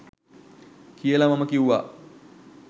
කියලා මම කිව්වා.